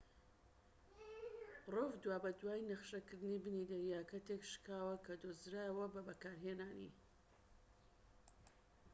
دوابەدوای نەخشەکردنی بنی دەریاکە تێكشکاوەکە دۆزرایەوە بە بەکارهێنانی rov